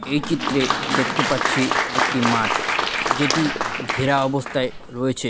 এই চিত্রে দেখতে পাচ্ছি একটি মাঠ। যেটি ঘেরা অবস্থায় রয়েছে।